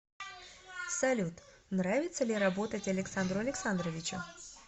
салют нравится ли работать александру александровичу